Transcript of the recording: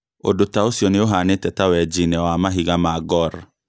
Ũndũ taũcio nĩũhanĩte ta wenji-inĩ wa mahiga ma gor